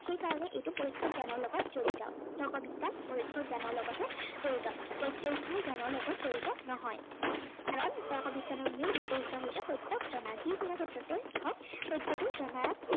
সেই কাৰনে এইটো পৰোক্ষ জ্ঞানৰ লগত জড়িত। তৰ্ক বিজ্ঞান পৰোক্ষ জ্ঞানৰ লগতহে জড়িত। প্ৰত্যক্ষ জ্ঞানৰ লগত জড়িত নহয়। কাৰন তৰ্ক বিজ্ঞানৰ মূল উদ্দেশ্য় হৈছে প্ৰত যি কোনো ক্ষেত্ৰতে